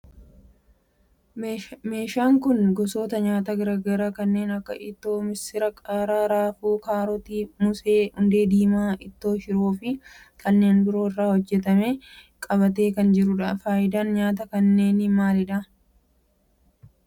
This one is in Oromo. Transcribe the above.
Meeshaan kun gosoota nyaataa garaa garaa kanneen akka ittoo missiraa, qaaraa, raafuu, kaarotii, moosee, hundee diimaa ittoo shiroo fi kanneen biroo irraa hojjetame qabatee kan jirudha. faayidaan nyaataa kanneenii maalidha?